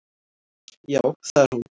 Já, það er hún.